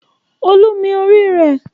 Olú mi orí rẹ̀.